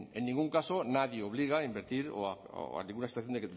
en ningún caso nadie obliga a invertir o a ninguna situación